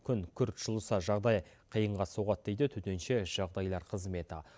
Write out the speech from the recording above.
күн күрт жылыса жағдай қиынға соғады дейді төтенше жағдайлар қызметі